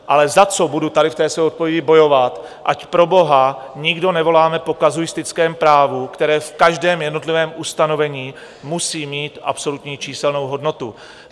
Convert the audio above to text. Ale za co budu tady v té své odpovědi bojovat, ať proboha nikdo nevoláme po kazuistickém právu, které v každém jednotlivém ustanovení musí mít absolutní číselnou hodnotu.